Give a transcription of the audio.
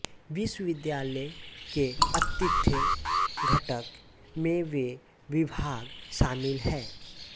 विश्वविद्यालय के आतिथ्य घटक में वे विभाग शामिल हैं